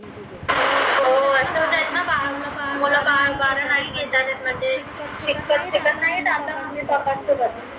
हो असच आहे न म्हनते